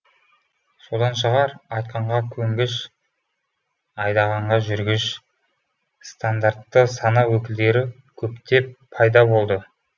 содан шығар айтқанға көнгіш айдағанға жүргіш стандартты сана өкілдері көптеп пайда болды